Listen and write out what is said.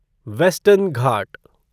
western Ghat